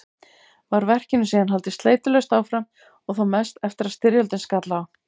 Var verkinu síðan haldið sleitulaust áfram og þó mest eftir að styrjöldin skall á.